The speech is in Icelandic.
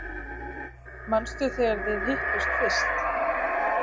Manstu þegar þið hittust fyrst?